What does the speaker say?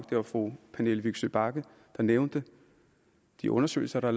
det var fru pernille vigsø bagge der nævnte de undersøgelser der